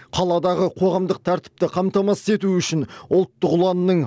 қаладағы қоғамдық тәртіпті қамтамасыз ету үшін ұлттық ұланның